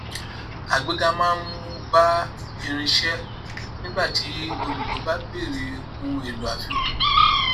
àgbéga máa mú bá irinṣẹ nígbà tí olùlò bá bèèrè ohunèlò àfikún